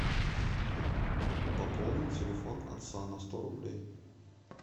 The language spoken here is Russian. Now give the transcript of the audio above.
пополни телефон отца на сто рублей